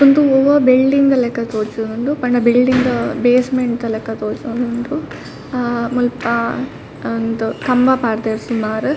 ಉಂದು ಒವಾ ಬಿಲ್ಡಿಂಗ್ ಲೆಕ ತೋಜೊಂದುಂಡು ಪಂಡ ಬಿಲ್ಡಿಂಗ್ ದ ಬೇಸ್ಮೆಂಟ್ ದ ಲಕ ತೋಜೊಂದುಂಡು ಆ ಮುಲ್ಪ ಉಂದು ಕಂಬ ಪಾಡ್ಡೆರ್ ಸುಮಾರ್ .